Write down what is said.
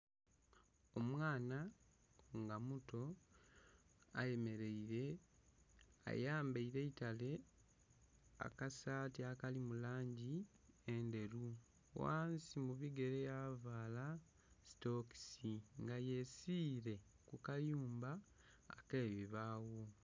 Omwaana nga muto ayemereire, ayambaire eitale akasati akali mu langi endheru ghansi mu bigere ya vala sitokisi nga yesiire ku kayumba ake bibagho.